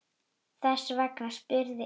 Þess vegna spurði enginn hana.